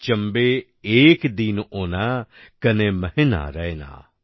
চাম্বে এক দিন ওণা কনে মহীনা রয়না